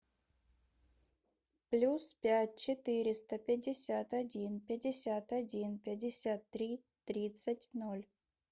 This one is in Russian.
плюс пять четыреста пятьдесят один пятьдесят один пятьдесят три тридцать ноль